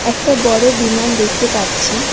একটা বড়ো বিমান দেখতে পারছি।